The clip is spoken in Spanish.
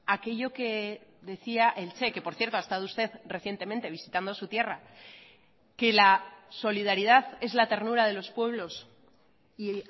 a aquello que decía el che que por cierto ha estado usted recientemente visitando su tierra que la solidaridad es la ternura de los pueblos y